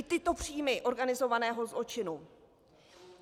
I tyto příjmy organizovaného zločinu.